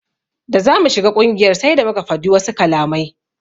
Da zamu shiga ƙungiyar sai da muka fadi wasu kalamai.